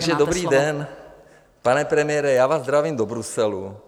Takže dobrý den, pane premiére, já vás zdravím do Bruselu.